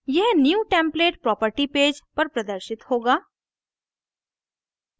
यह new template property page पर प्रदर्शित होगा